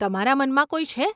તમારા મનમાં કોઈ છે?